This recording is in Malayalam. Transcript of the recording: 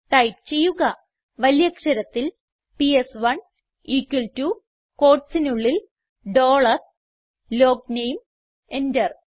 ടൈപ്പ് ചെയ്യുക വലിയ അക്ഷരത്തിൽ പിഎസ്1 equal ടോ quotesനുള്ളിൽ ഡോളർ ലോഗ്നേം എന്റർ